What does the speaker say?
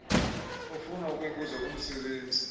ofuna ukuyibuza kumsebenzi